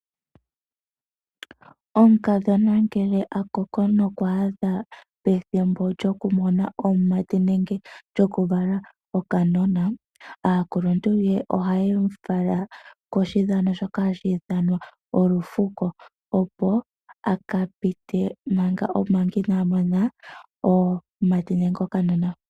Omukadhona ngele akoko nokwaadha pethimbo lyokumona omumati nenge lyokuvala okanona. Aakuluntu ye ohamu fala koshidhano shoka hashi ithanwa olufuko opo akamone omumati nenge okanona.